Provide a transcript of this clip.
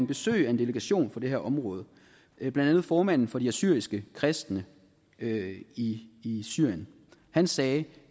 besøg af en delegation fra det her område blandt andet formanden for de assyriske kristne i syrien han sagde